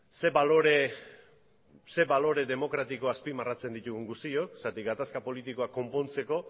zer balore demokratiko azpimarratzen ditugun guztiok zeren eta gatazka politikoa konpontzeko